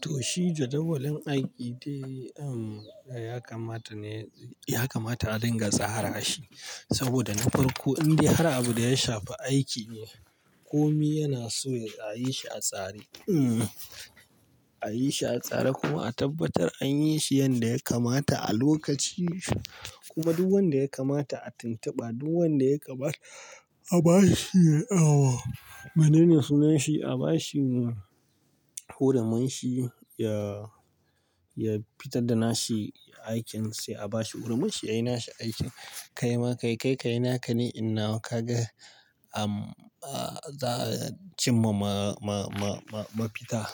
Toh shi jadawalin aiki dai, ya kamata ne, ya kamata a dinga tsara shi saboda na farko indai har abin da ya shafi aiki ne. Komi yanaso a yishi a tsare, a yishi a tsare kuma a tabbatar anyi shi yanda ya kamata a lokaci. Kuma duk wanda ya kamata a tuntuba, duk wanda ya kamata abashi shine, mene mai sunan shi a ba shi hurumin shi ya fitar da nashi aikin sai a bashi hurumin shi yayi nashi aikin. Kaima kai, kai kayi naka ni inyi nawa kaga za'a cimma ma ma ma mafita.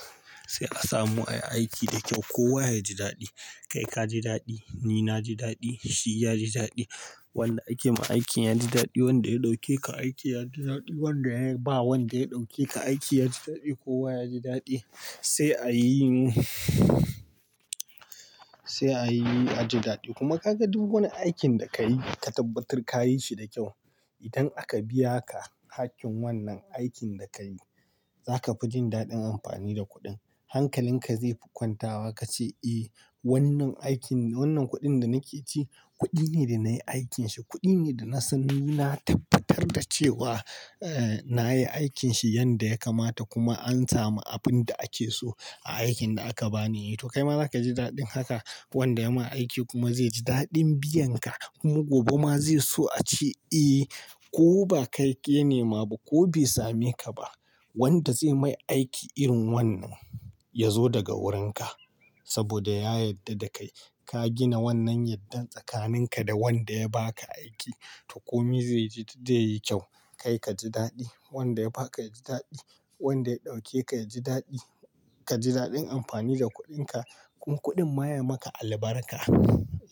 Sai a samu ayi aiki da ƙyau. Kowa ya ji daɗi, kai ka ji daɗi, ni na ji daɗi, shi ya ji daɗi. Wanda akema aiki yaji daɗi, wanda ya ɗauke ka aiki yaji daɗi, wanda ya ba wanda ya ɗauke ka aiki yaji daɗi, kowa yaji daɗi sai a yi, sai a yi, a ji daɗi. Kuma ka ga duk wani aikin da ka yi ka tabbatar ka yi shi da kyau. Idan aka biya ka hakkin wannan aikin da kayi, zaka fijin daɗin amfani da kuɗin. Hankalin ka zaifi kwantawa ka ce, "Eh wannan aikin, wannan kuɗin da nake ci, kuɗi ne da nayi aikin shi, kuɗi ne dana san nina tabbatar da cewa nayi aikin shi yanda ya kamata kuma an samu abin da ake so a aikin da aka bani. To kaima zakaji daɗin haka. Wanda yama aiki kuma zaiji daɗin biyan ka kuma gobe ma zai so ace, "Eh ko bakai ya nemaba ko bai same ka ba. Wanda zai mai aiki irin wannan yazo daga wurin ka. Saboda ya yarda da kai. Ka gina wannan yardar tsakanin ka da wanda ya baka aiki to komi zaiji, zaiyi ƙyau. Kai kaji daɗi, wanda ya baka yaji daɗi, wanda ya ɗauke ka yaji daɗi. Kaji daɗin amfani da kuɗin ka kuma kuɗin ma ya maka albarka.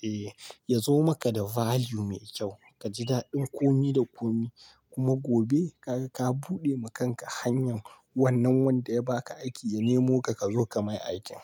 Eh yazo maka da value mai kyau. Kaji daɗin komi da komi kuma gobe kaga ka buɗe ma kanka hanyar wannan wanda ya baka aiki ya nemo ka, kazo ka mai aikin.